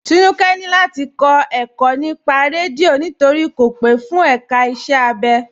Tínúkẹ̀ ni láti kọ ẹ̀kọ̀ nípà rẹ́díọ̀ nítorí kò pe fún èká ìṣẹ̀ abẹ.